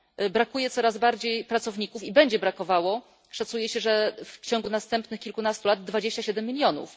Brakuje coraz bardziej pracowników i będzie brakowało, szacuje się, że w ciągu następnych kilkunastu lat 27 milionów.